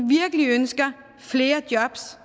virkelig ønsker flere jobs